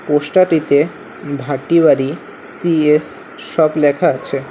পোস্টাটিতে Bhatibari C S shop লেখা আছে।